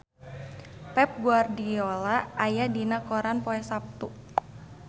Pep Guardiola aya dina koran poe Saptu